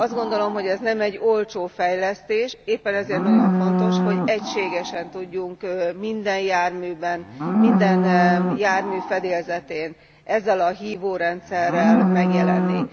Azt gondolom, hogy ez nem egy olcsó fejlesztés, éppen ezért nagyon fontos, hogy egységesen tudjunk minden járműben, minden jármű fedélzetén ezzel a hívórendszerrel megjelenni.